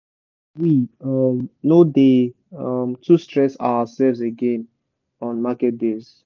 we um no dey um too stress ourselves again on market days.